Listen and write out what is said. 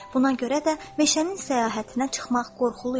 Buna görə də meşənin səyahətinə çıxmaq qorxulu idi.